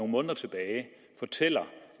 måneder tilbage fortæller